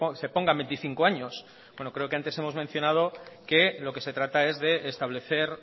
se ponga veinticinco años bueno creo que antes hemos mencionado que lo que se trata es de establecer